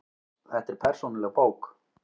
Þetta er persónuleg bók.